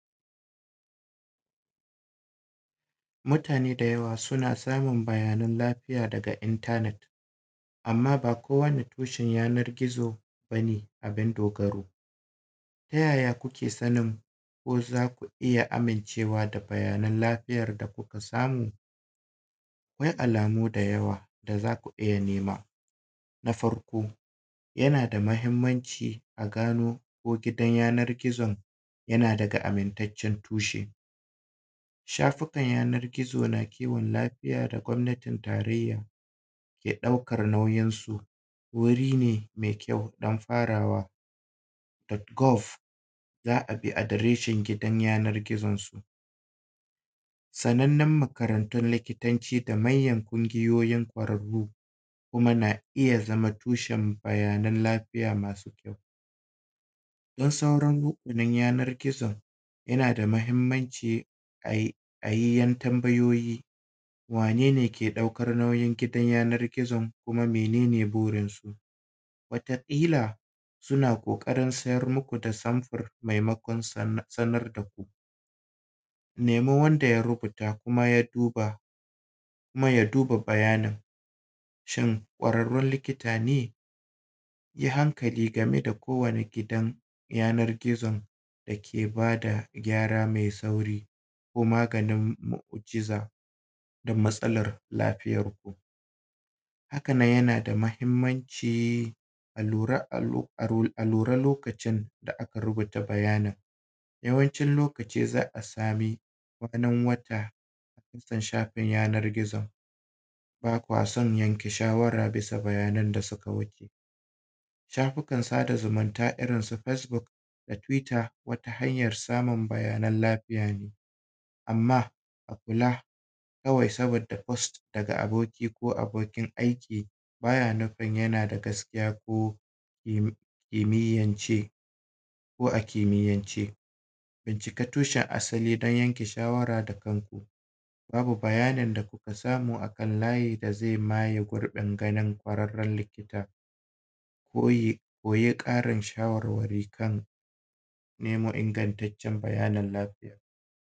mutane da yawa suna samun bayanan lafiya daga internet amma ba kowane tushen yanan gizo ba ne abin dogaro ta yaya kuke sanin ko za ku iya amincewa da bayanan lafiyar da kuka samu akwai alamu da yawa da za ku iya nema na farko yana da muhimmanci a gano ko gidan yanan gizon yana daga amintaccen tushe shafukan yanan gizo na kiwon lafiya da gwanatin tarayya ke daukar nauyinsu wuri ne mai kyau don farawa dot golf za a bi adireshin gidan yanan gizon su sannanen makarantun likitanci da manyan ƙungiyoyin ƙwararru kuma na iya zama tushen bayanan lafiya masu kyau don sauran duba yanan gizon yana da muhimmanci a yi ɗan tambayoyi wane ne ke ɗaukar nauyin gidan yanan gizon kuma mene ne burin su wata ƙila suna ƙoƙarin siyar maku da samfur maimakon sanar da ku nemi wanda ya rubuta kuma ya duba kuma ya duba bayanin shin kwararrun likita ne yi hankali game da kowane gidan yanan gizo da ke ba da gyara mai tsauri ko maganin mu'ujiza da matsalar lafiyanku haka nan yana da muhinmanci a lura lokacin da aka rubuta bayanin yawancin lokaci za a same kwanan watan da ya shafi yanan gizon ba kwa son yanke shawara bisa bayanan da su ka wuce shafukan sada zumunta irin su facebook da twitter wata hanyar samun bayanan lafiya ne amma a kula kawai saboda post daga aboki ko abokin aiki ba ya nufin yana da gaskiya ko imiyance ko a kimiyance bincika tushen asali don ya ke shawara da kan ku babu bayanin da ku ka samu a kan layi da zai maye gurbin ganin ƙwararrar likita ko yi ƙarin shawarwari kan memon igantaccen lafiya